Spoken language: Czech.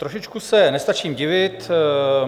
Trošičku se nestačím divit.